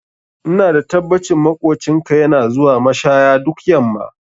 Ina da tabbacin maƙocinka yana zuwa mashaya duk yamma